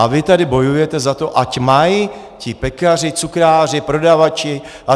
A vy tady bojujete za to, ať mají ti pekaři, cukráři, prodavači atd.